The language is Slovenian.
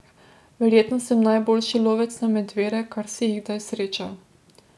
Verjetno sem najboljši lovec na medvede, kar si jih kdaj srečal.